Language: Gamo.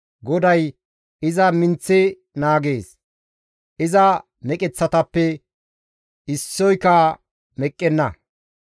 GODAY iza minththi naagees; iza meqeththatappe issoyka meqqenna.